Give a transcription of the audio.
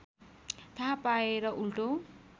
थाहा पाएर उल्टो